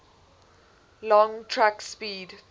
long track speed